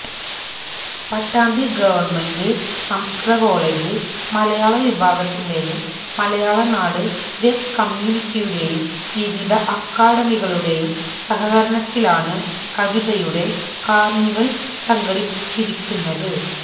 Pattambi government സംസ്കൃത college മലയാള വിഭാഗത്തിന്റെയും മലയാളനാട് വെബ് കമ്യൂണിറ്റിയുടെയും വിവിധ അക്കാദമികളുടെയും സഹകരണത്തിലാണ് കവിതയുടെ കാർണിവൽ സംഘടിപ്പിച്ചിരിക്കുന്നത്